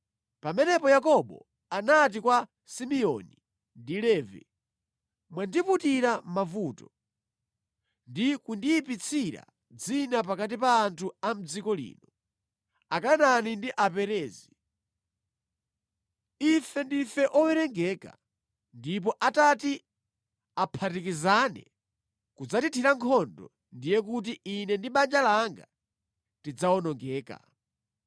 Pamenepo Yakobo anati kwa Simeoni ndi Levi, “Mwandiputira mavuto, ndi kundiyipitsira dzina pakati pa anthu a mʼdziko lino, Akanaani ndi Aperezi. Ife ndife owerengeka, ndipo atati aphatikizane kudzandithira nkhondo, ndiye kuti ine ndi banja langa tidzawonongeka.”